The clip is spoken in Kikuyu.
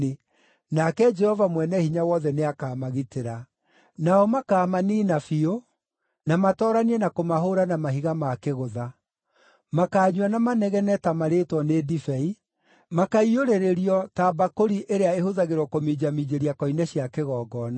nake Jehova Mwene-Hinya-Wothe nĩakamagitĩra. Nao makaamaniina biũ, na matooranie na kũmahũũra na mahiga ma kĩgũtha. Makaanyua na manegene ta marĩĩtwo nĩ ndibei; makaiyũrĩrĩrio ta mbakũri ĩrĩa ĩhũthagĩrwo kũminjaminjĩria koine cia kĩgongona.